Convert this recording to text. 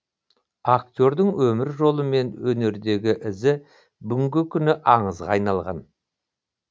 актердің өмір жолы мен өнердегі ізі бүгінгі күні аңызға айналған